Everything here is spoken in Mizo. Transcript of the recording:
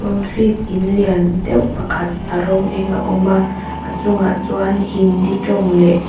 concrete in lian deuh pakhat a rawng eng a awm a a chungah chuan hindi tawng leh--